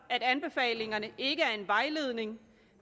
at anbefalingerne ikke er en vejledning